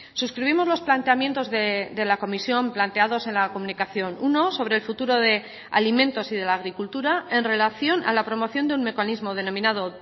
suscribimos los planteamientos de la comisión planteados en la comunicación uno sobre el futuro de alimentos y de la agricultura en relación a la promoción de un mecanismo denominado